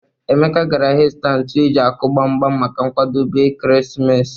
Emeka gara ahia ịzụta ntụ eji akụ gbam gbam maka nkwadobe ekeresimesi.